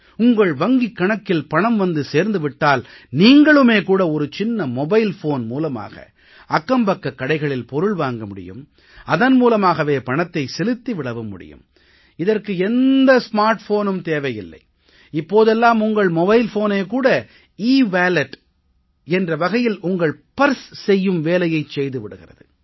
உங்கள் வங்கிக் கணக்கில் பணம் வந்து சேர்ந்து விட்டால் நீங்களுமே கூட ஒரு சின்ன மொபைல்போன் மூலமாக அக்கம்பக்கக் கடைகளில் பொருள் வாங்க முடியும் அதன் மூலமாகவே பணத்தை செலுத்தி விடவும் முடியும் இதற்கு எந்த ஸ்மார்ட் போனும் தேவையில்லை இப்போதெல்லாம் உங்கள் மொபைல் போனே கூட ஈவேலட் என்ற வகையில் உங்கள் பர்ஸ் செய்யும் வேலையைச் செய்து விடுகிறது